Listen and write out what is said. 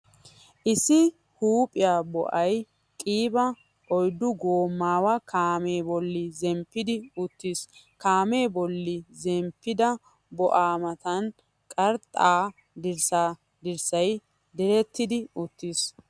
Issi huuphiyaa bo'ay qiiba oyddu goomaawa kaamee bolli zemppidi uttiis. Kaamee bolli zemppidda bo'aa matan qarxxaa dirssaa dirssay direttidi uttiis.